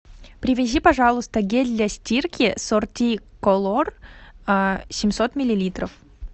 привези пожалуйста гель для стирки сорти колор семьсот миллилитров